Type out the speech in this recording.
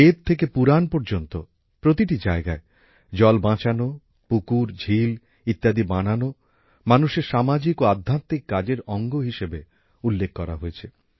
বেদ থেকে পুরাণ পর্যন্ত প্রতিটি জায়গায় জল বাঁচানো পুকুর ঝিল ইত্যাদি বানানো মানুষের সামাজিক ও আধ্যাত্মিক কাজের অঙ্গ হিসেবে উল্লেখ করা হয়েছে